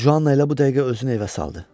Cuanna elə bu dəqiqə özünü evə saldı.